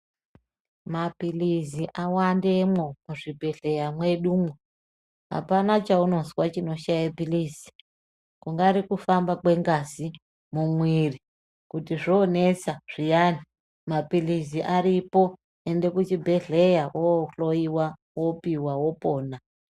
Maphirizi awandemo muzvibhedhlera medumo, hapana chaunozwa chinoshaye phirizi, kungari kufamba kwengazi mumiiri, kuti zvonetsa zviyani maphirizi aripo, oende kuchibhedhlera onohloyiwa opihwa opona.